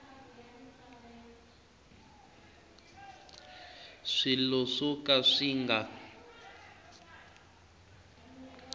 swilo swo ka swi nga